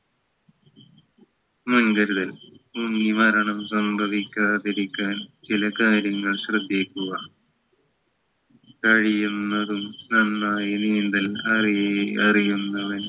മുൻകരുതൽ മുങ്ങി മരണം സംഭവിക്കാതിരിക്കാൻ ചില കാര്യങ്ങൾ ശ്രദ്ധിക്കുക കഴിയുന്നതും നന്നായി നീന്തൽ അറീ അറിയുന്നവൻ